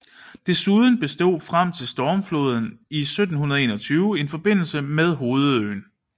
Desuden bestod frem til stormfloden i 1721 en forbindelse med hovedøen